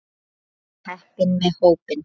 Við erum heppin með hópinn.